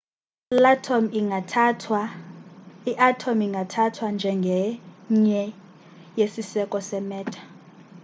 iatom ingathathwa njengenye yesiseko se-matter